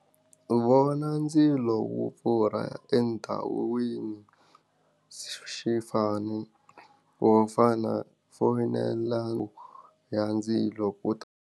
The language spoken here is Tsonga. Vona ndzilo wu pfurha endhawini wo fana foyinela ya ndzilo ku ta.